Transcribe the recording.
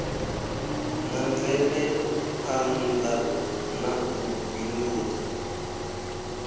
na mvelaphana na u bindudza